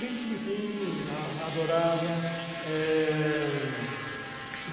Rin Tin Tin, a adorava, eh...